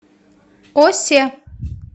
осе